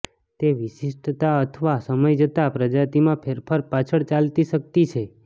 તે વિશિષ્ટતા અથવા સમય જતાં પ્રજાતિમાં ફેરફાર પાછળ ચાલતી શક્તિ છે